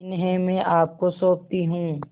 इन्हें मैं आपको सौंपती हूँ